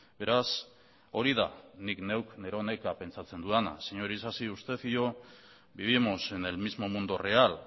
beraz hori da nik neuk neronek pentsatzen dudana señor isasi usted y yo vivimos en el mismo mundo real